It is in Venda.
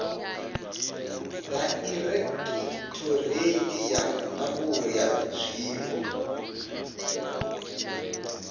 dairekhithoreithi ya ndangulo ya zwiwo